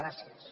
gràcies